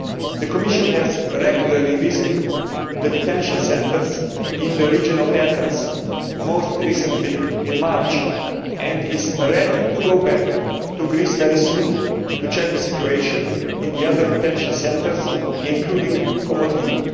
The Commission has regularly visited the detention centres in the region of Athens most recently in March and is ready to go back to Greece very soon to check the situation in the other detention centres, including Komotini.